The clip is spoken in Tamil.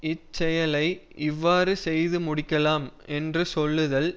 இச்செயலை இவ்வாறு செய்து முடிக்கலாம் என்று சொல்லுதல்